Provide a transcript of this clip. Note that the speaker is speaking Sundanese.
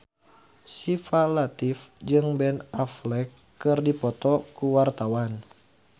Syifa Latief jeung Ben Affleck keur dipoto ku wartawan